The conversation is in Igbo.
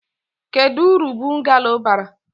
Kedu uru bungalo bara?